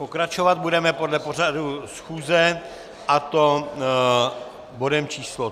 Pokračovat budeme podle pořadu schůze, a to bodem číslo